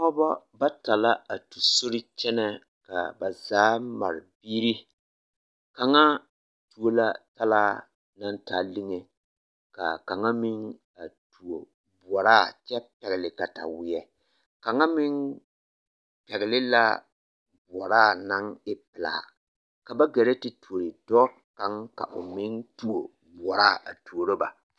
Pɔgbɔ bata la a tu sori kyɛnɛ kaa ba zaa mare biiri kaŋa tuo la talaa naŋ taa lige kaa kaŋa meŋ a tuo boɔraa kyɛ pɛgli kataweɛ kaŋa meŋ pɛgli la boɔraa naŋ e pelaa ka ba gɛrɛ te tuore dɔɔ kaŋ ka o meŋ tuo boɔraa a tuoro ba.